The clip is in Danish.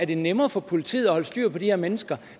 det nemmere for politiet at holde styr på de her mennesker